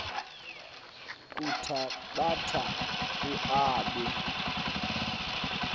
kuthabatha u aabe